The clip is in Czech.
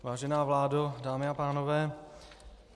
Vážená vládo, dámy a pánové.